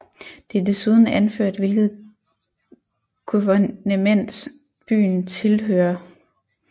Det er desuden anført hvilket guvernement byen tilhører